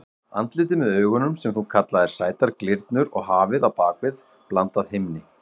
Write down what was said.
Andlitið með augunum sem þú kallaðir sætar glyrnur og hafið á bak við blandað himni.